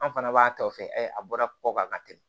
An fana b'a tɔ fɛ a bɔra kɔ kan ka tɛmɛ